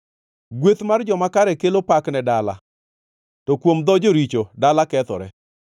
Gweth mar joma kare kelo pak ne dala, to kuom dho joricho dala kethore.